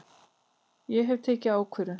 Ég hef tekið ákvörðun!